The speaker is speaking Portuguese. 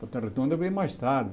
Volta redonda veio mais tarde.